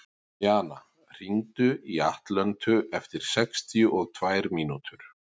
Jana, hringdu í Atlöntu eftir sextíu og tvær mínútur.